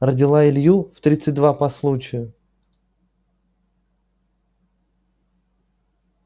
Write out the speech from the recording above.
родила илью в тридцать два по случаю